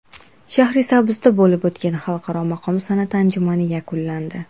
Shahrisabzda bo‘lib o‘tgan Xalqaro maqom san’ati anjumani yakunlandi.